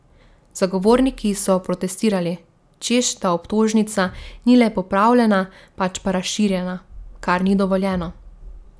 Zagovorniki so protestirali, češ da obtožnica ni le popravljena, pač pa razširjena, kar ni dovoljeno.